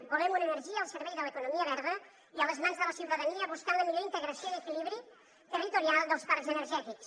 volem una energia al servei de l’economia verda i a les mans de la ciutadania buscant la millor integració i equilibri territorial dels parcs energètics